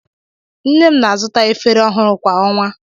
Nne m na-azụta efere ọhụrụ kwa ọnwa.